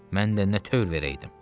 Mən də nə tövr verəydim?